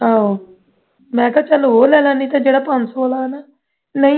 ਆਹੋ ਮੈਂ ਕਿਹਾ ਚੱਲ ਉਹ ਲੈ ਲੈ ਜਿਹੜਾ ਪੰਜ ਸੌ ਵਾਲਾ ਹੈ ਨਾ ਨਹੀਂ